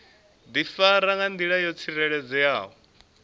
difara nga ndila yo tsireledzeaho